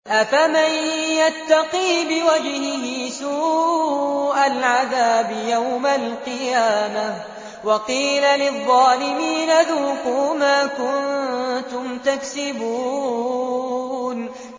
أَفَمَن يَتَّقِي بِوَجْهِهِ سُوءَ الْعَذَابِ يَوْمَ الْقِيَامَةِ ۚ وَقِيلَ لِلظَّالِمِينَ ذُوقُوا مَا كُنتُمْ تَكْسِبُونَ